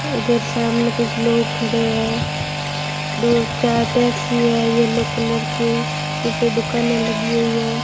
इधर सामने कुछ लोग खड़े हैं दो चार टैक्सी है येलो कलर की पीछे दुकाने लगी हुई है।